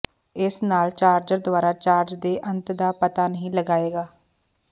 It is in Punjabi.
ਇਸ ਨਾਲ ਚਾਰਜਰ ਦੁਆਰਾ ਚਾਰਜ ਦੇ ਅੰਤ ਦਾ ਪਤਾ ਨਹੀਂ ਲਗਾਏਗਾ